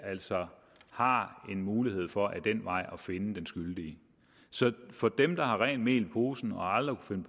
altså har en mulighed for ad den vej at finde den skyldige så for dem der har rent mel i posen og aldrig kunne